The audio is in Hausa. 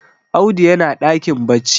Audu yana dakin bacci